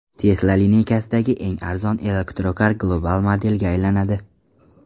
Tesla lineykasidagi eng arzon elektrokar global modelga aylanadi.